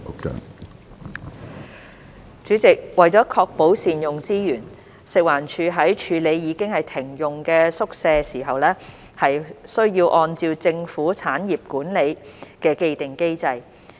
主席，為確保善用資源，食物環境衞生署在處理已停用的宿舍時，須按政府產業管理的既定機制。